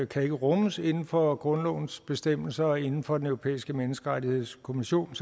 kan rummes inden for grundlovens bestemmelser og inden for den europæiske menneskerettighedskonvention